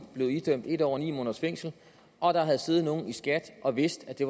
blevet idømt en år og ni måneders fængsel og at der havde siddet nogle i skat og vidst at det